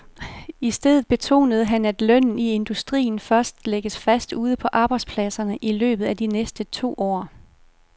I stedet betonede han, at lønnen i industrien først lægges fast ude på arbejdspladserne i løbet af de næste to år.